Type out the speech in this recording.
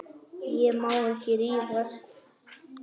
Ég má ekki rífast.